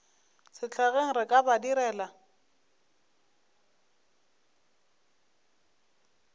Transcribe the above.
sehlageng re ka ba direla